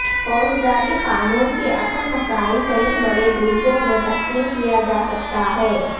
فوجداری قانون کے اصل مسائل کئی بڑے گروپوں میں تقسیم کیا جا سکتا ہے